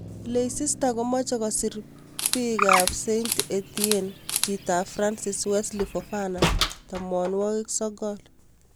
Leicester komoche kosir Beki ab Saint-Etienne chi ab France Wesley Fofana, 19.